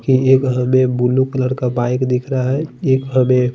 की यह हमे ब्लू कलर का बाइक दिख रहा है यह हमे एक--